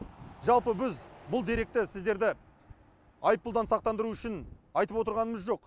жалпы біз бұл деректі сіздерді айыппұлдан сақтандыру үшін айтып отырғанымыз жоқ